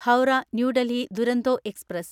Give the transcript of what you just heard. Howrah New Delhi Duronto express